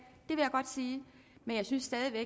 godt sige men jeg synes stadig væk